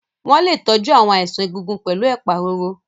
Wọ́n lè tọ́jú àwọn àìsàn egungun pẹ̀lú ẹ̀pà roro.